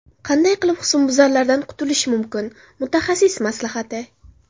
Qanday qilib husnbuzarlardan qutilish mumkin: mutaxassis maslahati.